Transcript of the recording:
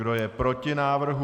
Kdo je proti návrhu?